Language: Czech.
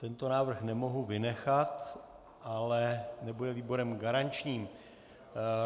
Tento návrh nemohu vynechat, ale nebude výborem garančním.